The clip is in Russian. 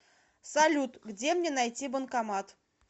салют где мне найти банкомат